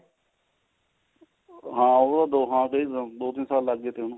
ਹਾਂ ਉਹ ਤਾਂ ਦੋੰ ਤਿੰਨ ਸਾਲ ਲੱਗ ਗੇ ਤੇ ਉਹਨੂੰ